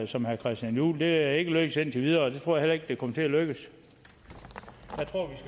som herre christian juhl det er ikke lykkedes indtil videre og jeg tror heller ikke at det kommer til at lykkes